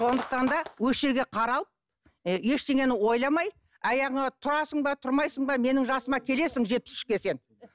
сондықтан да осы жерде қарал і ештеңені ойламай аяғыңа тұрасың ба тұрмайсың ба менің жасыма келесің жетпіс үшке сен